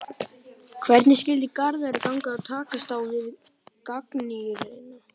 Hvernig skyldi Garðari ganga að takast á við gagnrýnina?